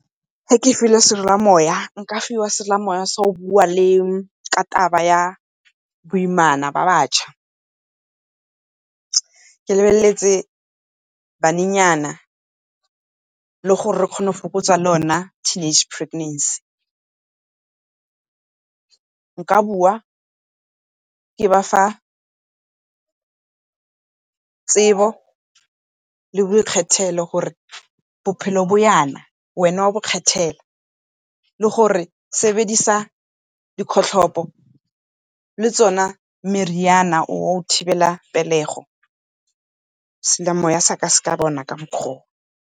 Fa ke filwe seromamowa, nka fiwa seromamowa sa go bua le, ka taba ya boimana jwa batšha ke lebeletse banenyana le gore re kgone go fokotsa le yona teenage preganacy. Nka bua ke ba fa tsebo le boikgethelo gore bophelo bo jana wena o a ikgethela, le gore sebedisa dikgotlhopo le tsone meriana ya go thibela pelego, seromamowa sa ka bona ka mokgwa oo.